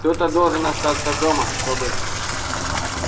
кто-то должен остаться дома чтобы